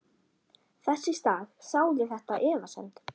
Þess í stað sáði þetta efasemdum.